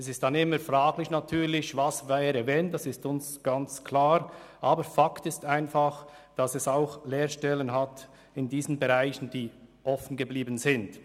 Es ist natürlich immer fraglich, was geschehen würde, aber es ist eine Tatsache, dass auch in diesen Bereichen Lehrstellen offengeblieben sind.